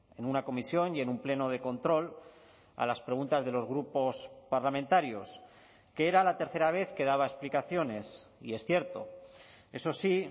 en una comisión y en un pleno de control a las preguntas de los grupos parlamentarios que era la tercera vez que daba explicaciones y es cierto eso sí